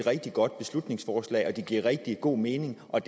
et rigtig godt beslutningsforslag og at det giver rigtig god mening og